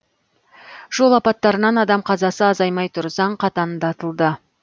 жол апаттарынан адам қазасы азаймай тұр заң қатаңдатылды